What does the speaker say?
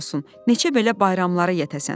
Neçə belə bayramlara yetəsən."